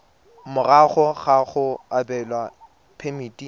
morago ga go abelwa phemiti